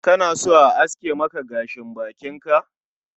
Kana so a aske maka gashin bakin ka?